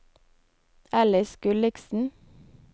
Alice Gulliksen